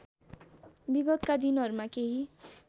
विगतका दिनहरूमा केही